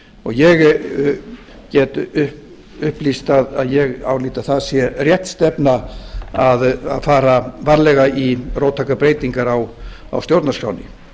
ég get upplýst að ég álít að það sé rétt stefna að fara varlega í róttækar breytingar á stjórnarskránni